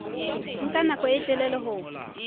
nka nako e telele ho